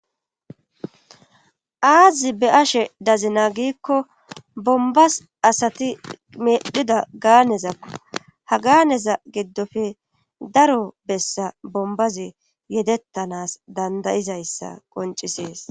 aazi be ashe dazina giikko bombas asati medhida gaanezakko ha gaaneza giddofe daro bessa bombazi yedettanas dandayizayssa qoncisees